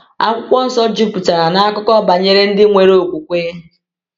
Akwụkwọ Nsọ juputara na akụkọ banyere ndị nwere okwukwe.